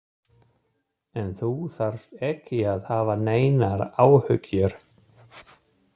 En þú þarft ekki að hafa neinar áhyggjur.